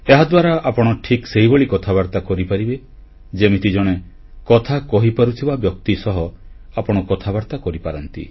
ଏହାଦ୍ୱାରା ଆପଣ ଠିକ୍ ସେହିଭଳି କଥାବାର୍ତ୍ତା କରିପାରିବେ ଯେମିତି ଜଣେ କଥା କହିପାରୁଥିବା ବ୍ୟକ୍ତି ସହ ଆପଣ କଥାବାର୍ତ୍ତା କରିପାରନ୍ତି